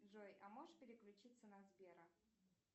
джой а можешь переключиться на сбера